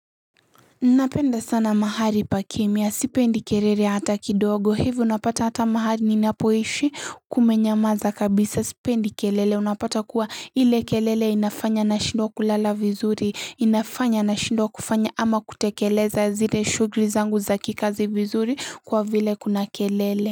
Napenda sana mahali pa kimya. Sipendi kelele hata kidogo. Hivyo unapata hata mahali ninapoishi kumenyamaza kabisa. Sipendi kelele unapata kuwa ile kelele inafanya nashindwa kulala vizuri. Inafanya nashindwa kufanya ama kutekeleza zile shughuli zangu za kikazi vizuri kwa vile kuna kelele.